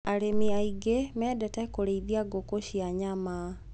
Arĩmi aingĩ mendete kũrĩithia ngũkũ cia nyama